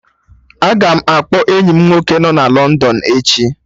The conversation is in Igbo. Aga m akpọ enyi m nwoke nọ London echi